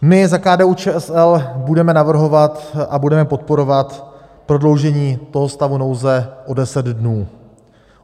My za KDU-ČSL budeme navrhovat a budeme podporovat prodloužení toho stavu nouze o deset dnů.